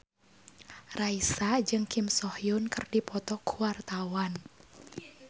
Raisa jeung Kim So Hyun keur dipoto ku wartawan